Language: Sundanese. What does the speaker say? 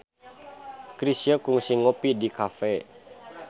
Chrisye kungsi ngopi di cafe